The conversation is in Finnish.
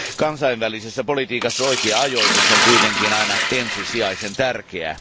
Kansainvälisessä politiikassa oikea ajoitus on kuitenkin aina ensisijaisen tärkeää.